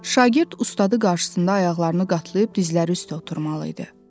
Şagird ustadı qarşısında ayaqlarını qatlayıb dizləri üstə oturmalı idi.